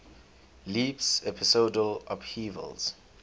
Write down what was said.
leaps episodal upheavals